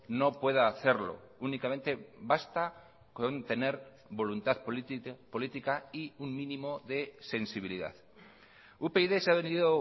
no pueda hacerlo únicamente basta con tener voluntad política y un mínimo de sensibilidad upyd se ha venido